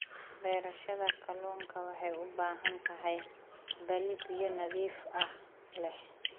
Beerashada kalluunka waxay u baahan tahay balli biyo nadiif ah leh.